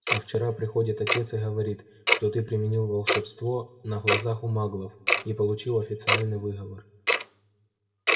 а вчера приходит отец и говорит что ты применил волшебство на глазах у маглов и получил официальный выговор